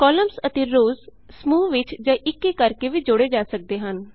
columns ਅਤੇ rows ਸਮੂਹ ਵਿਚ ਜਾਂ ਇੱਕ ਇੱਕ ਕਰਕੇ ਵੀ ਜੋੜੇ ਜਾ ਸਕਦੇ ਹਨ